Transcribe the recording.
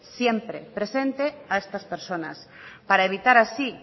siempre presente a estas personas para evitar así